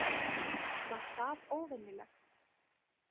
Var það óvenjulegt?